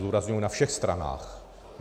Zdůrazňuji, na všech stranách.